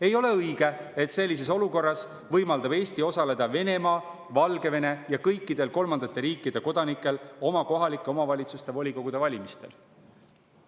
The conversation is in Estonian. Ei ole õige, et sellises olukorras võimaldab Eesti osaleda Venemaa, Valgevene ja kõikidel kolmandate riikide kodanikel oma kohalike omavalitsuste volikogude valimistel.